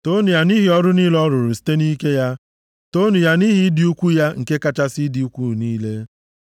Toonu ya, nʼihi ọrụ niile ọ rụrụ site nʼike ya. Toonu ya, nʼihi ịdị ukwuu ya nke kachasị ịdị ukwuu niile.